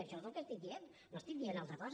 això és el que estic dient no estic dient una altra cosa